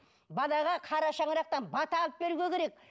балаға қара шаңырақтан бата алып беруге керек